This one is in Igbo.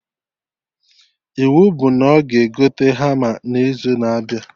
Iwu bụ na ọ ga egote hama na izu na-abịa